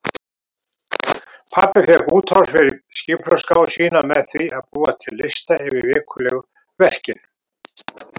Pabbi fékk útrás fyrir skipulagsgáfu sína með því að búa til lista yfir vikulegu verkin.